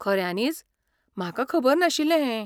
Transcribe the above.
खऱ्यानीच? म्हाका खबर नाशिल्लें हें!